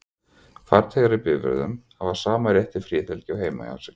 Farþegar í bifreiðum hafa sama rétt til friðhelgi og heima hjá sér.